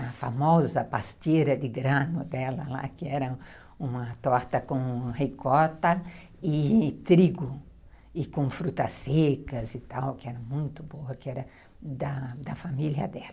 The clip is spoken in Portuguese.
a famosa pasteira de grano dela lá, que era uma torta com ricota e trigo, e com frutas secas e tal, que era muito boa, que era da da família dela.